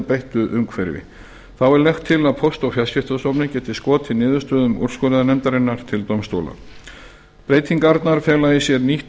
breyttu umhverfi þá er lagt til að póst og fjarskiptastofnun geti skotið niðurstöðum úrskurðarnefndarinnar til dómstóla breytingarnar